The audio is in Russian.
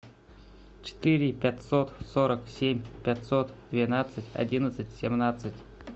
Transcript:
четыре пятьсот сорок семь пятьсот двенадцать одиннадцать семнадцать